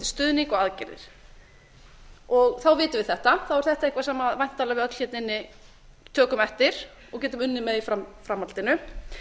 stuðning og aðgerðir þá vitum við þetta þá er þetta eitthvað sem væntanleg við öll hérna inni tökum eftir og getum unnið með í framhaldinu